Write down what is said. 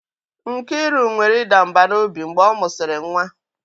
Nkiru nwere ịda mbà n'obi mgbe ọ mụsịrị nwa.